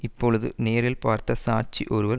இப்பொழுது நேரில் பார்த்த சாட்சி ஒருவர்